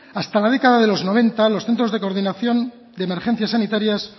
hasta la década de los noventa los centros de coordinación de emergencias sanitarias